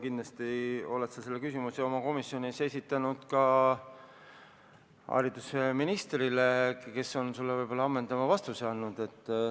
Kindlasti oled sa selle küsimuse oma komisjonis esitanud ka haridusministrile, kes on sulle võib-olla ammendava vastuse andnud.